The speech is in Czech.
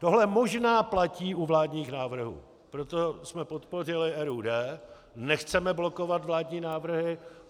Tohle možná platí u vládních návrhů, proto jsme podpořili RUD, nechceme blokovat vládní návrhy.